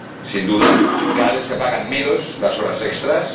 sin duda. Cada vez se pagan menos las horas extras.